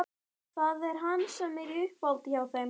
Það er hann sem er í uppáhaldi hjá þeim